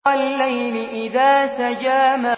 وَاللَّيْلِ إِذَا سَجَىٰ